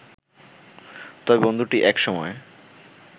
তবে বন্ধুটি এক সময়